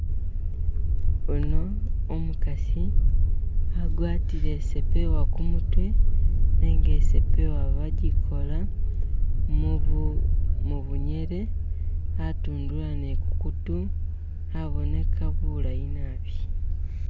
Uno umukasi agwatile sepewa kumutwe nega sepewa bagikola mubunyele atundula ni kukutu aboneka bulayi naabi.